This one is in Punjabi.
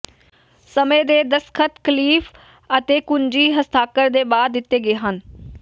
ਸਮੇਂ ਦੇ ਦਸਤਖਤ ਕਲੀਫ ਅਤੇ ਕੁੰਜੀ ਹਸਤਾਖਰ ਦੇ ਬਾਅਦ ਦਿੱਤੇ ਗਏ ਹਨ